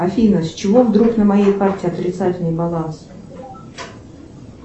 афина с чего вдруг на моей карте отрицательный баланс